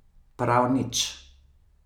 Prav nič.